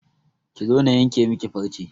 Ki zo na yanke miki farce!